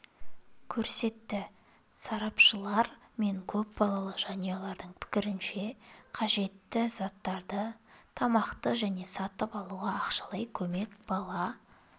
көрсетті сарапшылар мен көпбалалы жанұялардың пікірінше қажетті заттарды тамақты және сатып алуға ақшалай көмек бала